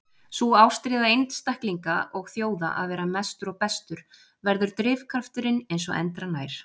Sú ástríða einstaklinga og þjóða að vera mestur og bestur verður drifkrafturinn eins og endranær.